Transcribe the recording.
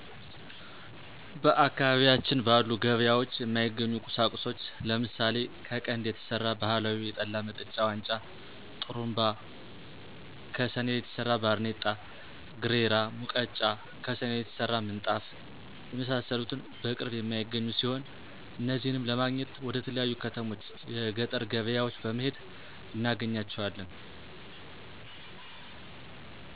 በአካባቢያችን ባሉ ገበያወች የማይገኙ ቁሳቁሶች ለምሳሌ ከቀንድ የተሰራ ባህላዊ የጠላመጠጫ ዋንጫ፣ ጥሩንባ፣ ከሰኔል የተሰራ ባርኔጣ፣ ግሬራ፣ ሙቀጫ፣ ከሰኔል የተሰራ ምንጣፍ የመሳሰሉትን በቅርብ የማይገኙ ሲሆኑ አነዚህነም ለማግኘት ወደተለያዩ ከተሞች(ገጠር ገበያወች) በመሄድ እናገኛቸዋለን።